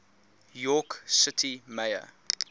york city mayor